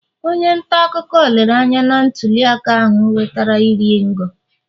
onye ntaakụkọ lere anya na ntuliaka ahụ nwetara iri ngo